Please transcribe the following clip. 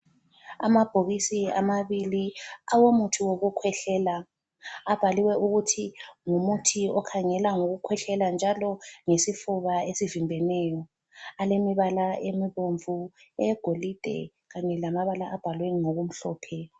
Amabhokisi amabili awomuthi wokukhwehlela, abhaliwe ukuthi ngumuthi okhangela ngokukhwehlela njalo lesifuba esivimbeneyo. Alemibala emibomvu eyegolide kanye lamabala abhalwe ngokumhlophe.